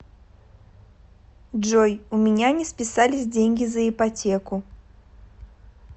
джой у меня не списались деньги за ипотеку